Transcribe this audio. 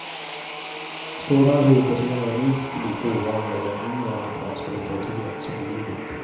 Sådana huvudpersoner är minst lika ovanliga i den yngre amerikanska litteraturen som i livet.